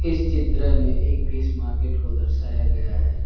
इस चित्र में एक फिश मार्केट को दर्शाया गया है।